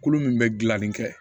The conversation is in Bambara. Kolo min bɛ gilanli kɛ